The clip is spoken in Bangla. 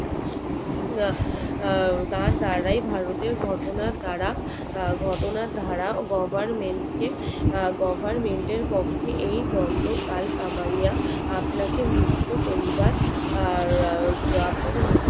তার দাড়াই ভারতের ঘটনার দ্বারা ঘটনার দ্বারা goverment কে goverment এর পক্ষে এই গোন্ডকাল কামাইয়া আপনাকে মুক্ত করিবার